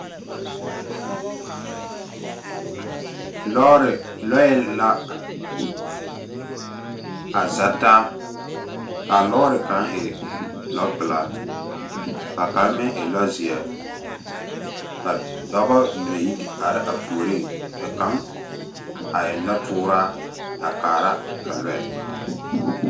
Lɔɔre, lɔɛ la a za taa. Ka a lɔɔre kaŋ e lɔpelaa, ka kaŋa meŋ e lɔzeɛ. Ka dɔba mine yi te are a puoriŋ. Ka kaŋ a eŋ nɔtooraa a kaara a lɔɛ